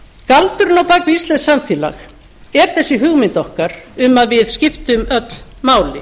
galdurinn á bak við íslenskt samfélag er þessi hugmynd okkar um að við skiptum öll máli